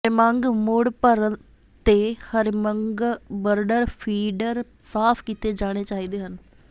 ਹਰਿਮੰਗ ਮੁੜ ਭਰਨ ਤੇ ਹਰਿਮੰਗਬਰਡਰ ਫੀਡਰ ਸਾਫ ਕੀਤੇ ਜਾਣੇ ਚਾਹੀਦੇ ਹਨ